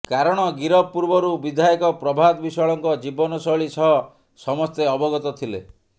କାରଣ ଗିରଫ ପୂର୍ବରୁ ବିଧାୟକ ପ୍ରଭାତ ବିଶ୍ୱାଳଙ୍କ ଜୀବନଶୈଳୀ ସହ ସମସ୍ତେ ଅବଗତ ଥିଲେ